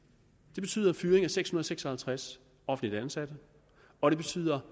det betyder fyring af seks hundrede og seks og halvtreds offentligt ansatte og det betyder